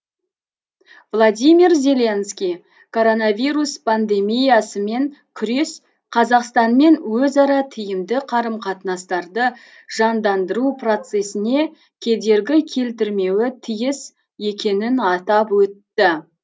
владимир зеленский коронавирус пандемиясымен күрес қазақстанмен өзара тиімді қарым қатынастарды жандандыру процесіне кедергі келтірмеуі тиіс екенін атап өтті